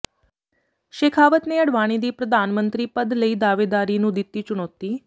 ਸ਼ੇਖਾਵਤ ਨੇ ਅਡਵਾਨੀ ਦੀ ਪ੍ਰਧਾਨਮੰਤਰੀ ਪਦ ਲਈ ਦਾਅਵੇਦਾਰੀ ਨੂੰ ਦਿਤੀ ਚੁਣੌਤੀ